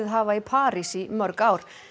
hafa í París í mörg ár